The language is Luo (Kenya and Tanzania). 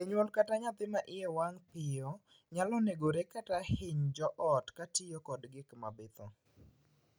Janyuol kata nyathi ma iye wang' nyalo negore kata hiny joot kotiyo kod gik mabitho.